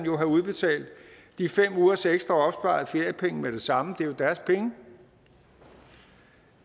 jo have udbetalt de fem ugers ekstra feriepenge med det samme for det er jo deres penge